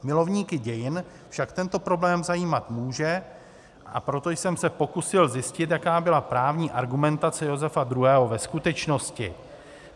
Milovníky dějin však tento problém zajímat může, a proto jsem se pokusil zjistit, jaká byla právní argumentace Josefa II. ve skutečnosti.